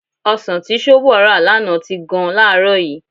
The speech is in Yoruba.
Ọsàn tí Ṣóbọ̀ rà lánàá ti gan láàárọ̀ yìí.